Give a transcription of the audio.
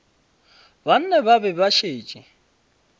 banna ba be ba šetše